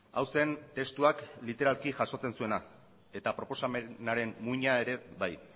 hau zen testuak literalki jasotzen zuena eta proposamenaren muina ere bai